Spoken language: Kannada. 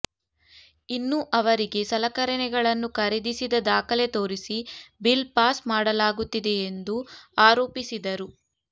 ಇನ್ನು ಅವರಿಗೆ ಸಲಕರಣೆಗಳನ್ನು ಖರೀದಿಸಿದ ದಾಖಲೆ ತೋರಿಸಿ ಬಿಲ್ ಪಾಸ್ ಮಾಡಲಾಗುತ್ತಿದೆ ಎಂದು ಆರೋಪಿಸಿದರು